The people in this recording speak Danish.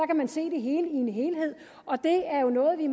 kan man se det hele i en helhed og det er jo noget vi